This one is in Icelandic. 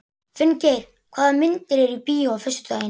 Finngeir, hvaða myndir eru í bíó á föstudaginn?